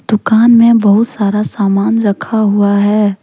दुकान में बहुत सारा सामान रखा हुआ है।